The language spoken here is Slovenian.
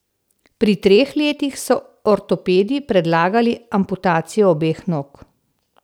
Pri treh letih so ortopedi predlagali amputacijo obeh nog.